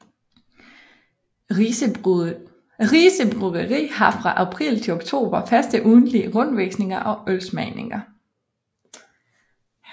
Rise Bryggeri har fra april til oktober faste ugentlige rundvisninger og ølsmagninger